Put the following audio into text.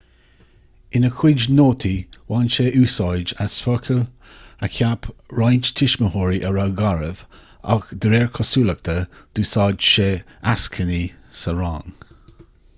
ina chuid nótaí bhain sé úsáid as focail a cheap roinnt tuismitheoirí a raibh garbh agus de réir cosúlachta d'úsáid sé eascainí sa rang